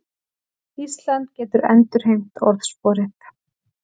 Ísland getur endurheimt orðsporið